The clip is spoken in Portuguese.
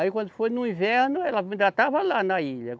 Aí quando foi no inverno, ela ainda estava lá na ilha.